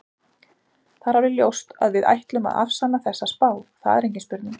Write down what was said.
Það er alveg ljóst að við ætlum að afsanna þessa spá, það er engin spurning.